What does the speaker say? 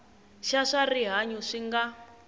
xa swa rihanyu swi nga